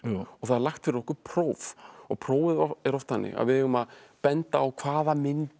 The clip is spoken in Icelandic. það er lagt fyrir okkur próf og prófið er oft þannig að við eigum að benda á hvaða myndir